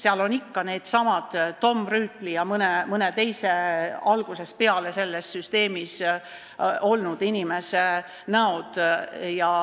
Seal on ikka needsamad Tom Rüütli ja mõne teise algusest peale selles süsteemis olnud inimese näod.